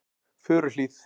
Furuhlíð